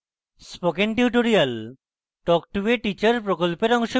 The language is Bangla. spoken tutorial talk to a teacher প্রকল্পের অংশবিশেষ